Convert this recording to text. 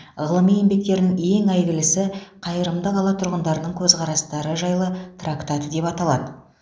ғылыми еңбектерін ең әйгілісі қайырымды қала тұрғындарының көзқарастары жайлы трактаты деп аталады